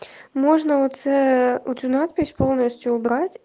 можно у це эту надпись полностью убрать